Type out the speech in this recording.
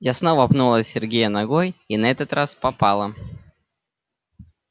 я снова пнула сергея ногой и на этот раз попала